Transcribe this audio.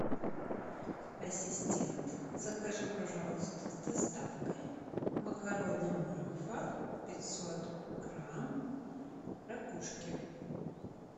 ассистент закажи пожалуйста с доставкой макароны макфа пятьсот грамм ракушки